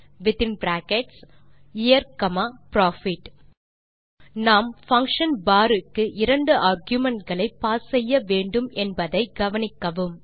within bracket year comma profit நாம் function bar க்கு இரண்டு argumentகளை பாஸ் செய்ய வேண்டும் என்பதை கவனிக்கவும்